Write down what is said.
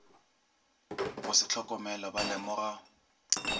go se hlokomele ba lemoga